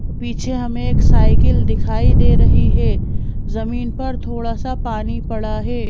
पीछे हमें एक साइकिल दिखाई दे रही है जमीन पर थोड़ा सा पानी पड़ा है।